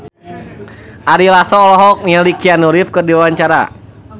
Ari Lasso olohok ningali Keanu Reeves keur diwawancara